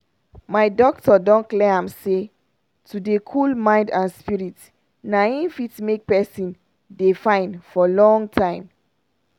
my doctor don clear am say to dey cool mind and spirit na hin fit make pesin dey fine for long time.